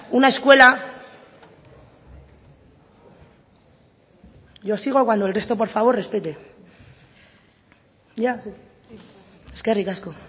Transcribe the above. una escuela berbotsa yo sigo cuando el resto por favor respete ya eskerrik asko